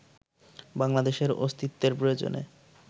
বাংলাদেশের অস্তিত্বের প্রয়োজনে